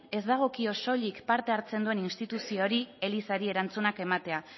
ez dagokio soilik parte hartzen duen instituzioari elizari erantzunak ematea